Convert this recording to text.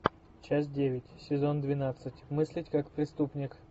часть девять сезон двенадцать мыслить как преступник